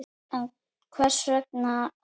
En hvers vegna það?